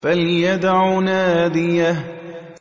فَلْيَدْعُ نَادِيَهُ